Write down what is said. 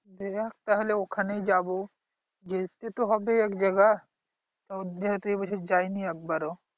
দেখা যাক তাহলে ওখানেই যাব। যেতে তো হবে এক জায়গায় যেহেতু এই বছর যায়নি একবারও